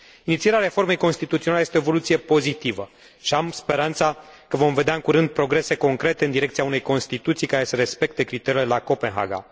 Inițierea reformei constituționale este o evoluție pozitivă și am speranța că vom vedea în curând progrese concrete în direcția unei constituții care să respecte criteriile de la Copenhaga.